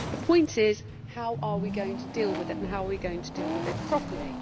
The point is how are we going to deal with it and how are we going to deal with it properly?